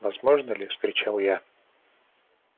возможно ли вскричал я